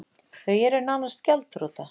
Þau eru nánast gjaldþrota